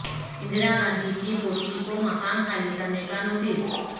اندرا گاندھی کی پوتی کومکان خالی کرنے کا نوٹس